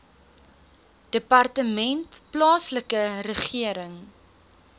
departement plaaslike regering